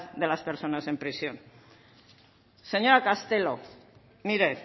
de las personas en prisión señora castelo mire